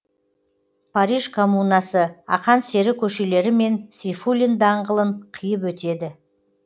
париж комунасы ақан сері көшелері мен сейфуллин даңғылын қиып өтеді